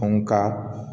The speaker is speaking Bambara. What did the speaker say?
ka